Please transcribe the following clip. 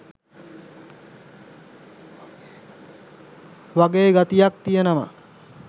වගේ ගතියක් තියෙනවා.